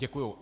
Děkuji.